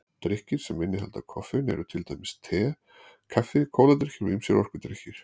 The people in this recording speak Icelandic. Drykkir sem innihalda koffein eru til dæmis kaffi, te, kóladrykkir og ýmsir orkudrykkir.